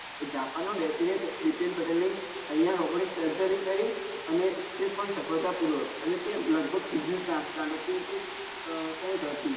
એ japan માં બેસી ને પટેલ ની અહિયાં robotics કરી અને તે પણ સફળતા પુર્વક અને તે લગભગ કેમ કે આહ કઈંક હતું